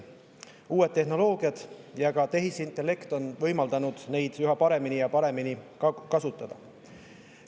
Uued tehnoloogiad ja tehisintellekt on võimaldanud seda üha paremini ja paremini kasutada.